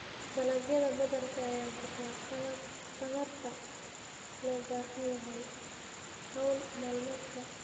Dalagyada badarka ayaa bixiya tamarta loo baahan yahay hawl maalmeedka.